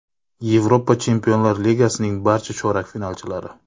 Yevropa Chempionlar Ligasining barcha chorak finalchilari.